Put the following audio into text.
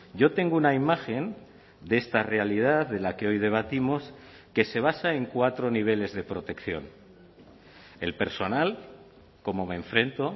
yo tengo una imagen de esta realidad de la que hoy debatimos que se basa en cuatro niveles de protección el personal cómo me enfrento